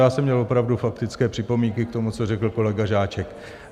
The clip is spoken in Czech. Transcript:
Já jsem měl opravdu faktické připomínky k tomu, co řekl kolega Žáček.